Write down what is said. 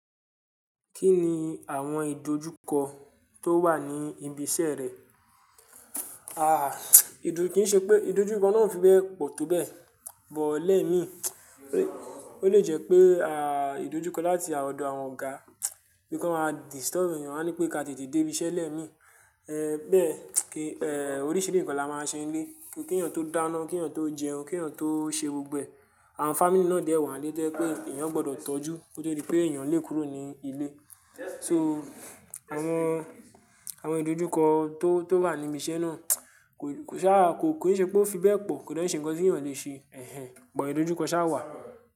Kí ni àwọn ìdojúkọ tó wà ní ibi iṣẹ́ rẹ? Àh, ìdo, kì í ṣe pé ìdojúkọ náà o fi bẹ́ẹ̀ pọ̀ tó bẹ́ẹ̀, bọ́lẹ̀ mí, ó lè jẹ́ pé, à, ìdojúkọ láti ọ̀dọ̀ àwọn ọ̀gá, bí kàn máa disturb èèyàn, wọ́n á ní pé ká ti tètè dé ibi iṣẹ́ lẹ́mi. Ẹ̀, bẹ́ẹ̀, kí, ẹ́, oríṣiríṣi nǹkan la máa ṣe nílé, kí èèyàn tó dáná, kí èèyàn tó jẹun, kí èèyàn tó ṣe gbogbo ẹ̀. Àwọn family náà dẹ́ wa n lé tẹ́ yé èèyàn gbọdọ̀ tọ́jú kóto di pé èèyàn le kúrò ní ilé. So, àwọn, àwọn ìdojúkọ tó, tó wà ní ibi iṣẹ́ náà kò ṣa, kò, kò ì ṣe pé ó fi bẹ́ẹ̀ pọ̀, kò dè n ṣe ǹkan tí èèyàn le ṣe. Ẹ̀hẹ́n, bọ ìdojúkọ sá wà.